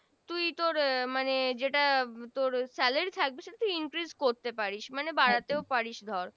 তুই তোর মানে যেটা তোর Salary থাকবে সেটা increase করতে পারিস মানে বাড়াতেও পারিস ধর